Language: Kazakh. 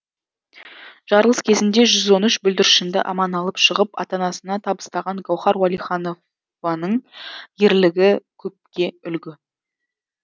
жарылыс кезінде жүз он үш бүлдіршінді аман алып шығып ата анасына табыстаған гаухар уәлиханованың ерлігі көпке үлгі